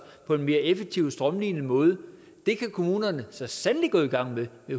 på en mere effektiv og strømlinet måde kan kommunerne så sandelig gå i gang med det